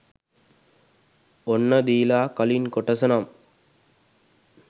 ඔන්න දීලා කලින් කොටස නම්